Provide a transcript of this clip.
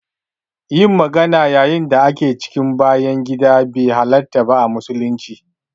Yin magana yayin da ake cikin bayan gida be halarta ba a musulunci.